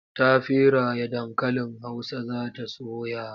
Ta feraye dankalin Hausa za ta soya.